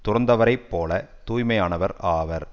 துறந்தவரைப் போல தூய்மையானவர் ஆவர்